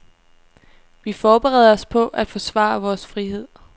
Vi forbereder os på at forsvare vores frihed.